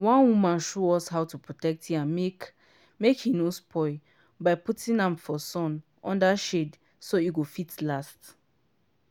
one woman show us how to protect yam make make he no spoil by putting am for sun under shade so he go fit last.